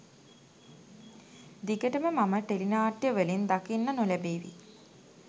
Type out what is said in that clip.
දිගටම මම ටෙලි නාට්‍යවලින් දකින්න නොලැබේවි